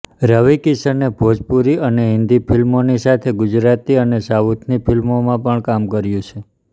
રવિ કિશને ભોજપુરી અને હિન્દી ફિલ્મોની સાથે ગુજરાતી અને સાઉથની ફિલ્મોમાં પણ કામ કર્યું છે